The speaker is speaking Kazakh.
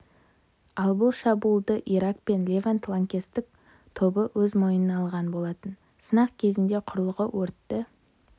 ал бұл шабуылды ирак пен левант лаңкестік тобы өз мойнына алған болатын сынақ кезінде құрылғы өртті